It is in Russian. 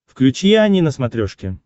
включи ани на смотрешке